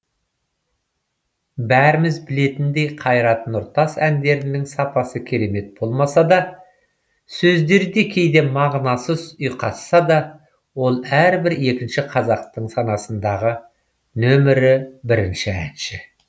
бәріміз білетіндей қайрат нұртас әндерінің сапасы керемет болмаса да сөздері де кейде мағынасыз ұйқасса да ол әрбір екінші қазақтың санасындағы нөмірі бірінші әнші